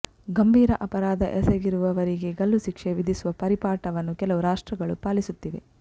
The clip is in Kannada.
ಗಂಭೀರ ಅಪರಾಧ ಎಸಗಿರುವವರಿಗೆ ಗಲ್ಲು ಶಿಕ್ಷೆ ವಿಧಿಸುವ ಪರಿಪಾಠವನ್ನು ಕೆಲವು ರಾಷ್ಟ್ರಗಳು ಪಾಲಿಸುತ್ತಿವೆ